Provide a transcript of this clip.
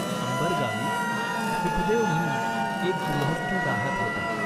अंबर गावी सुखदेव म्हणून एक गृहस्थ राहात होता.